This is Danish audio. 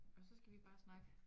Og så skal vi bare snakke